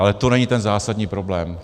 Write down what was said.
Ale to není ten zásadní problém.